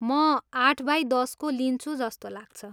म आठ बाई दसको लिन्छु जस्तो लाग्छ।